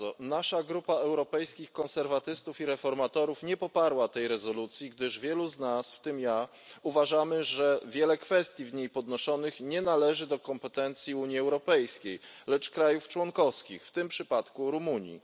Nasza grupa Europejskich Konserwatystów i Reformatorów nie poparła tej rezolucji, gdyż wielu z nas, w tym ja, uważamy, że wiele kwestii w niej podnoszonych nie należy do kompetencji Unii Europejskiej, lecz państw członkowskich, w tym przypadku Rumunii.